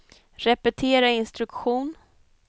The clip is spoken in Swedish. repetera instruktion